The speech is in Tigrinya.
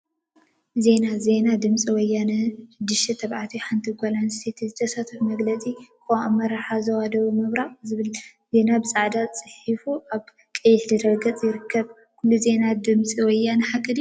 ዜና ዜና ድምፂ ወያነ ሽዱሽተ ተባዕትዮ ሓንቲ ጓል እንስተይቲ ዘሳተፈ መግለፂ ቅዋም አመራርሓ ዞባ ደቡብ ምብራቅ ዝብል ዜና ብፃዕዳ ተፃሒፉ አብ ቀይሕ ድሕረ ገፅ ይርከብ፡፡ ኩሉ ዜና ድምፂ ወያነ ሓቂ ድዩ?